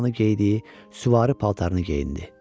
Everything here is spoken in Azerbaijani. zamanı geydiyi süvari paltarını geyindi.